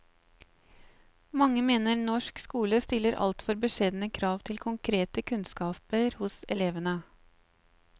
Mange mener norsk skole stiller altfor beskjedne krav til konkrete kunnskaper hos elevene.